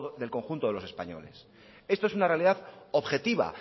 del conjunto de los españoles esto es una realidad objetiva